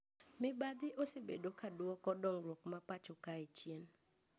Mibadhi osebedo ka duoko dongruok ma pacho kae chien